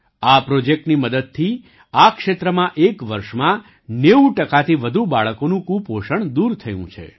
આ પ્રૉજેક્ટની મદદથી આ ક્ષેત્રમાં એક વર્ષમાં ૯૦ ટકાથી વધુ બાળકોનું કુપોષણ દૂર થયું છે